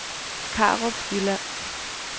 Karup Jylland